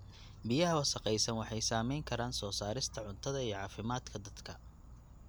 Biyaha wasakhaysan waxay saameyn karaan soo saarista cuntada iyo caafimaadka dadka.